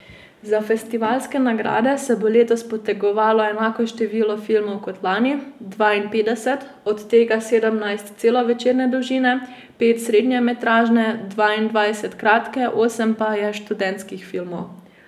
Za festivalske nagrade se bo letos potegovalo enako število filmov kot lani, dvainpetdeset, od tega sedemnajst celovečerne dolžine, pet srednjemetražne, dvaindvajset kratke, osem pa je študentskih filmov.